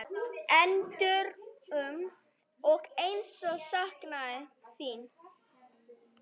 Endrum og eins saknað þín.